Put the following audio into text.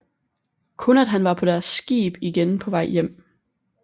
Kun at han var på deres skib igen på vej hjem